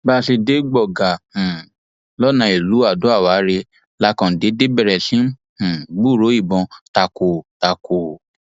bá a ṣe dé gbọgá um lọnà ìlú adoawárẹ la kàn déédé bẹrẹ sí í um gbúròó ìbọn takọtako